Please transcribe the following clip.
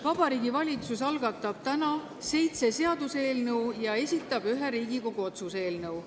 Vabariigi Valitsus algatab täna seitse seaduseelnõu ja esitab ühe Riigikogu otsuse eelnõu.